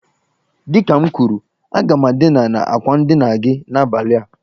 Dị ka m kwuru, aga m edina na àkwà ndina gi n'abalị a